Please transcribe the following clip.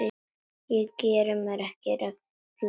Ég geri mér ekki rellu.